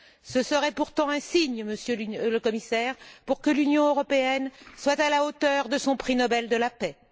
Ce serait pourtant le signe, Monsieur le Commissaire, que l'Union européenne est à la hauteur de son prix Nobel de la paix.